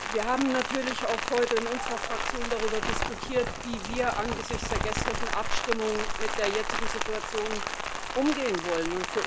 Wir haben natürlich auch heute in unserer Fraktion darüber diskutiert, wie wir angesichts der gestrigen Abstimmung mit der jetzigen Situation umgehen wollen.